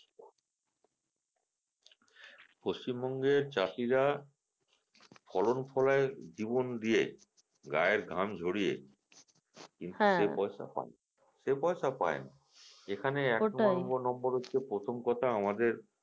পশ্চিমবঙ্গের চাষিরা ফলন ফলায় জীবন দিয়ে গায়ের ঘাম ঝরিয়ে সে পয়সা পায়না সে পয়সা পায়না এখানে এক নম্বর নম্বর হচ্ছে প্রথম কথা আমাদের